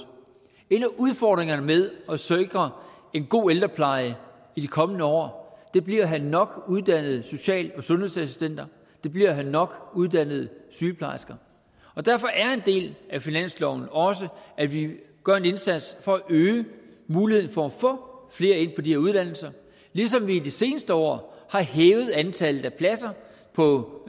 en af udfordringerne med at sikre en god ældrepleje i de kommende år bliver at have nok uddannede social og sundhedsassistenter det bliver at have nok uddannede sygeplejersker og derfor er en del af finansloven også at vi gør en indsats for at øge muligheden for at få flere ind på de her uddannelser ligesom vi i de seneste år har hævet antallet af pladser på